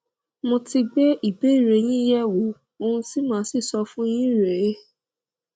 mo ti gbé ìbéèrè yín yẹ wò ohun tí màá sì sọ fún yín rèé